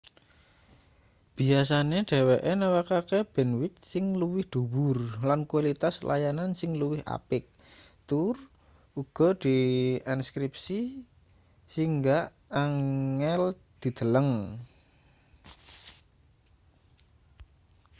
biyasane dheweke nawakke bandwith sing luwih dhuwur lan kualitas layanan sing luwih apik tur uga dienkripsi saingga angel dideleng